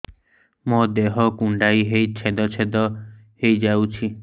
ମୋ ଦେହ କୁଣ୍ଡେଇ ହେଇ ଛେଦ ଛେଦ ହେଇ ଯାଉଛି